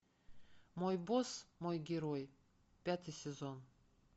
мой босс мой герой пятый сезон